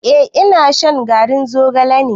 Eh ina shan garin zogalen.